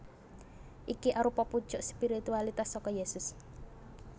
Iki arupa puncuk spiritualitas saka Yésus